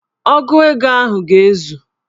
Ogu ego ahụ ga-ezu